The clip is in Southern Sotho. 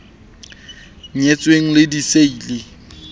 nyetsweng di ne di siile